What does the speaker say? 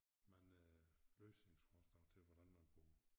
Mange løsningsforslag til hvordan man kunne